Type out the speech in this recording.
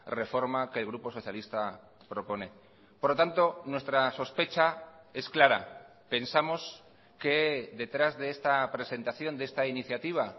reforma que el grupo socialista propone por lo tanto nuestra sospecha es clara pensamos que detrás de esta presentación de esta iniciativa